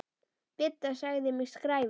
Didda sagði mig skræfu.